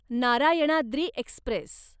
Narayanadri Express